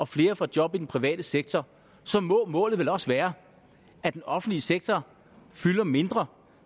flere får job i den private sektor så må målet vel også være at den offentlige sektor fylder mindre